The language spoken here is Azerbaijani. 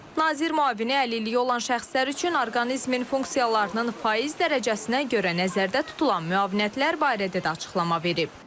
Nazir müavini əlilliyi olan şəxslər üçün orqanizmin funksiyalarının faiz dərəcəsinə görə nəzərdə tutulan müavinətlər barədə də açıqlama verib.